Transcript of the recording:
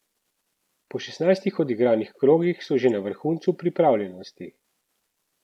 Po šestnajstih odigranih krogih so že na vrhuncu pripravljenosti!